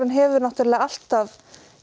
hefur náttúrulega alltaf